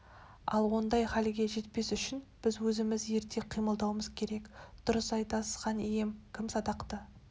ал ондай халге жетпес үшін біз өзіміз ерте қимылдауымыз керек дұрыс айтасыз хан ием кім садақты